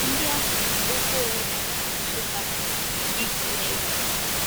Ndị ahụ na - akpọkwa onwe ha na asụsụ ha Itneg.